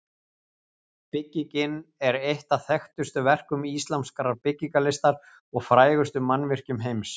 Byggingin er eitt af þekktustu verkum íslamskrar byggingarlistar og frægustu mannvirkjum heims.